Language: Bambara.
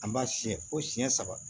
An b'a siyɛn fo siyɛn saba